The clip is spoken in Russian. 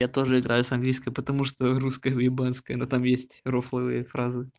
я тоже играю с английской потому что русская уебанская там есть рофловые фразы